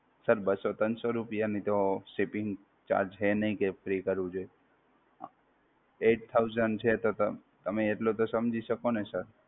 Sir બસ્સો ત્રણસો રૂપિયા ની તો Shipping charges છે નહિ કે Free કરવું જોઈએ, Eight thousand છે તો તમે એટલું તો સમજી શકો ને Sir!